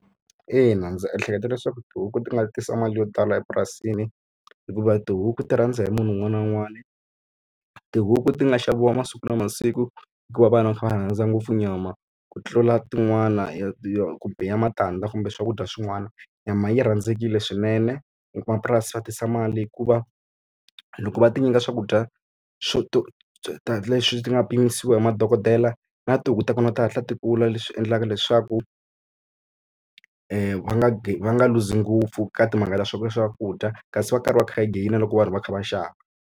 Ina ndzi ehleketa leswaku tihuku ti nga tisa mali yo tala epurasini, hikuva tihuku ti rhandza hi munhu un'wana na un'wana. Tihuku ti nga xaviwa masiku na masiku hikuva vanhu va kha va rhandza ngopfu nyama, ku tlula tin'wana ya yo biha matandza kumbe swakudya swin'wana. Nyama yi rhandzekile swinene, vamapurasi va tisa mali hikuva loko va ti nyika swakudya leswi ti nga pimiwa hi madokodela na tihuku ta kona ti hatla ti kula. Leswi endlaka leswaku va nga va nga luzi ngopfu ka timhaka ta swakudya kasi va karhi va kha va gain-a loko vanhu va kha va xava.